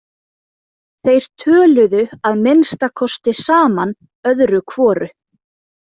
Þeir töluðu að minnsta kosti saman öðru hvoru.